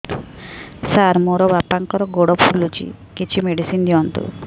ସାର ମୋର ବାପାଙ୍କର ଗୋଡ ଫୁଲୁଛି କିଛି ମେଡିସିନ ଦିଅନ୍ତୁ